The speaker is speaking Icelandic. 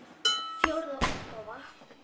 Fjórða útgáfa.